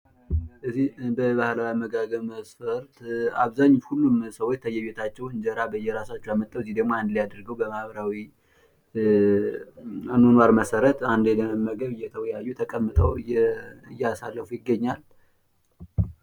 በባህላዊ አመጋገብ መስፈርት ምግባቸውን አምጥተው አንድ ላይ እየተመገቡ ይታያል።